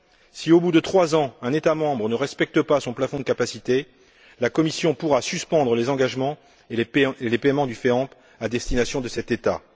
Si au bout de trois ans, un État membre ne respecte pas son plafond de capacité, la Commission pourra suspendre les engagements et les paiements du FEAMP à destination de cet État.